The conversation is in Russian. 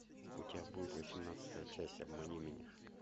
у тебя будет восемнадцатая часть обмани меня